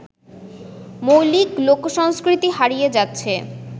মৌলিক লোকসংস্কৃতি হারিয়ে যাচ্ছে